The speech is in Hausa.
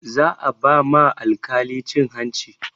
Za a ba ma alkalin cin hanci